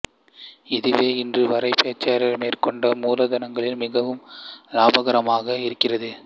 இதுவே இன்று வரை பெர்க்சயர் மேற்கொண்ட மூலதனங்களில் மிகவும் லாபகரமானதாக இருக்கிறது